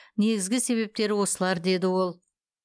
негізгі себептері осылар деді ол